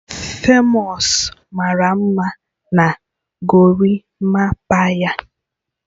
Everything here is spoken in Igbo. Famous mara mma na Gorimapaa ya